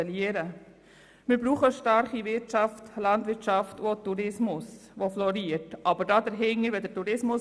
Wir brauchen eine starke Wirtschaft, Landwirtschaft und einen florierenden Tourismus.